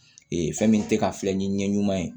fɛn min tɛ ka filɛ ni ɲɛ ɲuman ye